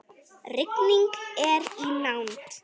Rigning er í nánd.